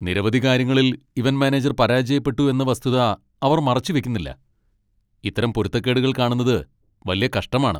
നിരവധി കാര്യങ്ങളിൽ event manager പരാജയപ്പെട്ടു എന്ന വസ്തുത അവർ മറച്ചു വയ്ക്കുന്നില്ല. ഇത്തരം പൊരുത്തക്കേടുകൾ കാണുന്നത് വല്യ കഷ്ടമാണ്.